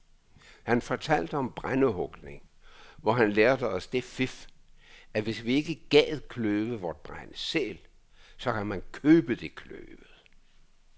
Han fortalte om brændehugning, hvor han lærte os det fif, at hvis vi ikke gad kløve vort brænde selv, så kan man købe det kløvet.